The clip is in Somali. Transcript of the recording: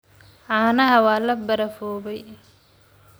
Caanaha waa la barafoobay.